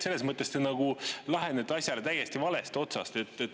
Selles mõttes te lähenete asjale täiesti valest otsast.